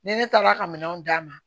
Ni ne taara ka minɛnw d'a ma